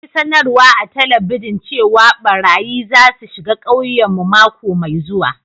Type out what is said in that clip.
An yi sanarwa a'telibijin cewa barayyi za su shiga ƙauyen mu mako mai zuwa.